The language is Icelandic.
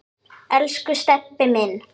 Elsku Stebbi minn.